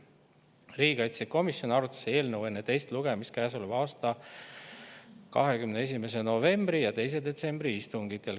Riigikaitsekomisjon arutas eelnõu enne teist lugemist käesoleva aasta 21. novembri ja 2. detsembri istungil.